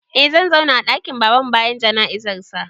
Eh zan zauna a ɗakin Babanmu bayan jana'izarsa.